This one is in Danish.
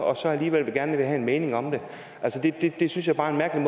og så alligevel gerne vil have en mening om det det synes jeg bare er en